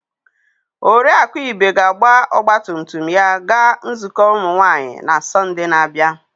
Oriakụ Ibe ga-agba ọgba tum tum ya gaa nzukọ ụmụ nwanyị na Sọnde na-abịa.